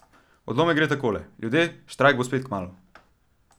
Odlomek gre takole: "Ljudje, štrajk bo spet kmalu.